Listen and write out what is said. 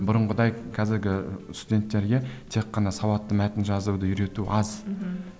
бұрынғыдай қазіргі студенттерге тек қана сауатты мәтін жазуды үйрету аз мхм